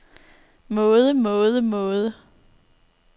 måde måde måde